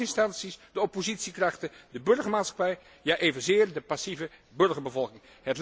De staatsinstanties, de oppositiekrachten, de burgermaatschappij, ja evenzeer de passieve burgerbevolking.